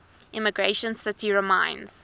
emigration city reminds